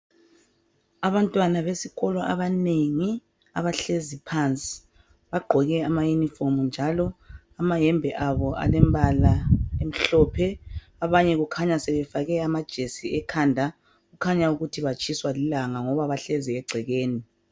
Abantwana besikolo abanengi abahlezi phansi. Bagqoke amayunifomu njalo amayembe abo alembala emhlophe ,abanye kukhanya sebefake amajesi ekhanda kukhanya ukuthi batshiswa lilanga ngoba bahlezi egcekeni.